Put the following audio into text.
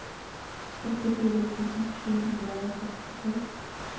trettifire tusen sju hundre og sekstito